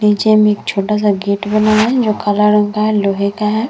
नीचे में एक छोटा-सा गेट बना है जो काला रंग का है लोहे का है।